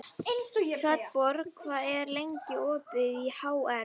Svanborg, hvað er lengi opið í HR?